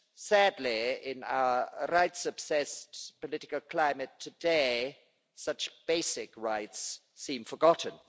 Sadly in our rights obsessed political climate today, such basic rights seem forgotten.